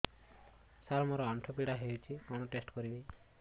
ସାର ମୋର ଆଣ୍ଠୁ ପୀଡା ହଉଚି କଣ ଟେଷ୍ଟ କରିବି